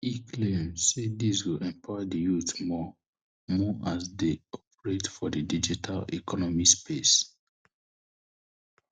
e claim say dis go empower di youth more more as dem operate for di digital economy space